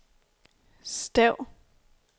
stav